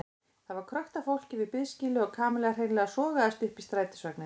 Það var krökkt af fólki við biðskýlið og Kamilla hreinlega sogaðist upp í strætisvagninn.